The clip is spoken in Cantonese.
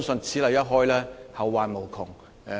此例一開，後患無窮。